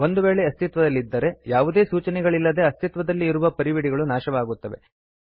ಒಂದು ವೇಳೆ ಇದು ಅಸ್ತಿತ್ವದಲ್ಲಿದ್ದರೆ ಯಾವುದೇ ಸೂಚನೆಗಳಿಲ್ಲದೆ ಅಸ್ತಿತ್ವದಲ್ಲಿ ಇರುವ ಪರಿವಿಡಿಗಳು ನಾಶವಾಗುತ್ತದೆ